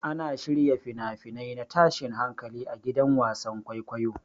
Ana shirya fina-finai na tashin hankali a gidan wasan kwaikwayo.